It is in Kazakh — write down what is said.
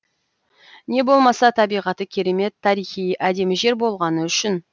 не болмаса табиғаты керемет тарихи әдемі жер болғаны үшін